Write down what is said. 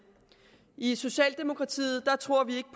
i socialdemokratiet tror vi ikke